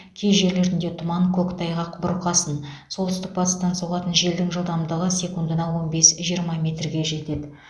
кей жерлерінде тұман көктайғақ бұрқасын солтүстік батыстан соғатын желдің жылдамдығы секундына он бес жиырма метрге дейін жетеді